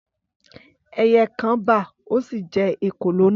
Ẹyẹ kan bà, ó sí jẹ èkòlò náà.